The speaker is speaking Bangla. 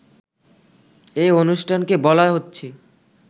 এ অনুষ্ঠানকে বলা হচ্ছে